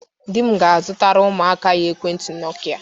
Di m ga-azụtara ụmụaka anyị Ekwentị nọkịa